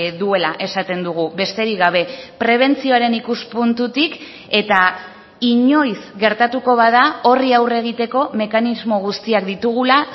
duela esaten dugu besterik gabe prebentzioaren ikuspuntutik eta inoiz gertatuko bada horri aurre egiteko mekanismo guztiak ditugula